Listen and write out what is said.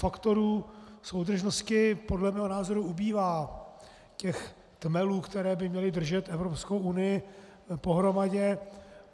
Faktorů soudržnosti podle mého názoru ubývá, těch tmelů, které by měly držet Evropskou unii pohromadě.